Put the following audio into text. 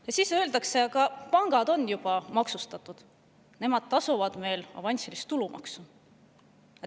Ja siis öeldakse: aga pangad on juba maksustatud, nemad tasuvad meil avansilist tulumaksu.